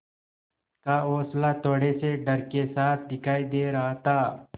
का हौंसला थोड़े से डर के साथ दिखाई दे रहा था